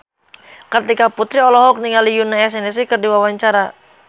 Kartika Putri olohok ningali Yoona SNSD keur diwawancara